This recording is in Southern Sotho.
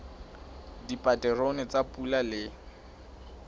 dipaterone tsa pula le ho